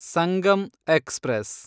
Sangam express